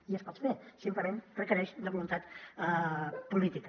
i es pot fer simplement requereix voluntat política